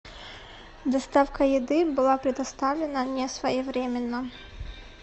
доставка еды была предоставлена несвоевременно